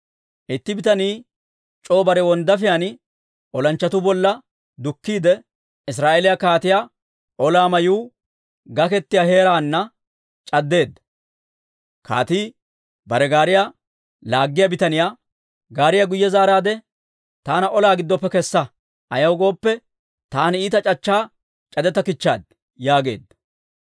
Itti bitanii c'oo bare wonddaafiyaan olanchchatuu bolla dukkiide, Israa'eeliyaa kaatiyaa olaa mayuu gaketiyaa heeraana c'addeedda. Kaatii bare gaariyaa laaggiyaa bitaniyaa, «Gaariyaa guyye zaaraade, taana olaa giddoppe kessa. Ayaw gooppe, taani iita c'achchaa c'adettakichchaad» yaageedda.